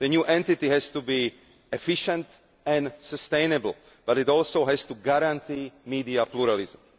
The new entity has to be efficient and sustainable, but it also has to guarantee media pluralism.